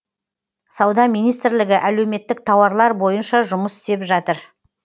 сауда министрлігі әлеуметтік тауарлар бойынша жұмыс істеп жатыр